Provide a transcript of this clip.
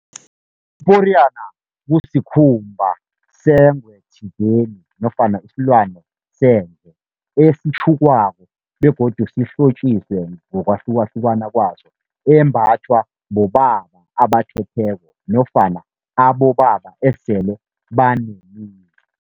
Iporiyana kusikhumba sengwe thizeni nofana isilwane sendle esitjhukwako begodu sihlotjiswe ngokwahlukahlukana kwaso, embathwa bobaba abathetheko nofana abobaba esele banemizi.